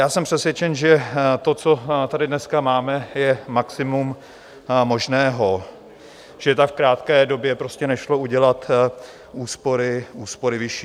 Já jsem přesvědčen, že to, co tady dneska máme, je maximum možného, že v tak krátké době prostě nešlo udělat úspory vyšší.